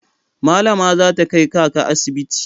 Malama za ta kai kaka asibiti.